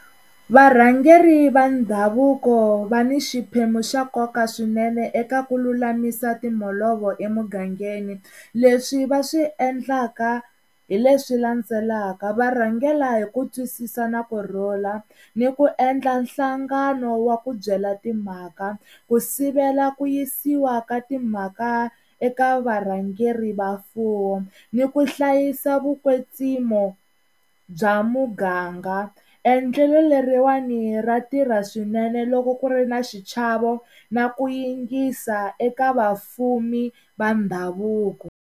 Varhangeri va ndhavuko va ni xiphemu xa nkoka swinene eka ku lulamisa timholovo emugangeni leswi va swi endlaka hi leswi landzelaka va rhangela hi ku twisisa na kurhula ni ku endla nhlangano wa ku byela timhaka ku sivela ku yisiwa ka timhaka eka varhangeri va mfuwo ni ku hlayisa vukwetsimo bya muganga, endlelo leriwani ra tirha swinene loko ku ri ni xichava na ku yingisa eka vafumi va ndhavuko.